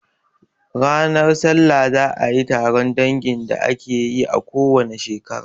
Ranar salla za a yi taron dangin da ake yi a ko wane shekara.